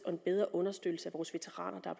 og en bedre understøttelse af vores veteraner og